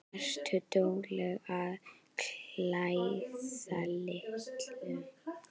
Ertu dugleg að klæðast litum?